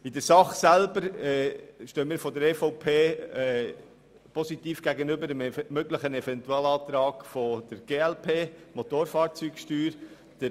In der Sache selber stehen wir von der EVP dem möglichen Eventualantrag der glp zur Motofahrzeugsteuer positiv gegenüber.